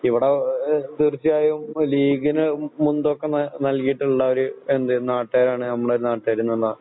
ഇവിടെ ആഹ് തീർച്ചയായും ലീഗിനുമുൻതൂക്കം നൽകിയിട്ടുള്ള ഒരു എന്ത് നാട്ടാരാണ് നമ്മുടെ നാട്ടാര്ന്നാ